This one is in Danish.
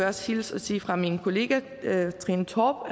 også hilse fra min kollega trine torp og